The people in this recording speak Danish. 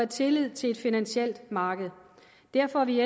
tillid til et finansielt marked derfor er vi